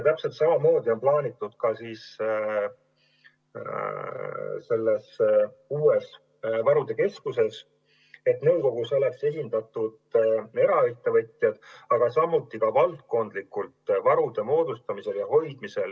Täpselt samamoodi on plaanitud, et selle uue varude keskuse nõukogus oleks esindatud eraettevõtjad, samuti valdkondlikult varude moodustamisel ja hoidmisel.